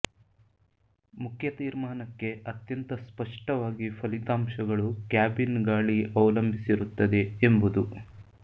ಮುಖ್ಯ ತೀರ್ಮಾನಕ್ಕೆ ಅತ್ಯಂತ ಸ್ಪಷ್ಟವಾಗಿ ಫಲಿತಾಂಶಗಳು ಕ್ಯಾಬಿನ್ ಗಾಳಿ ಅವಲಂಬಿಸಿರುತ್ತದೆ ಎಂಬುದು